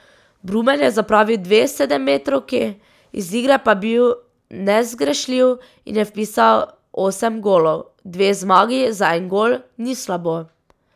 Brumen je zapravil dve sedemmetrovki, iz igre pa bil nezgrešljiv in je vpisal osem golov: "Dve zmagi za en gol, ni slabo.